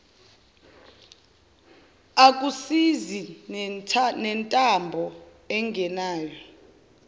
akusizi nentambo anginayo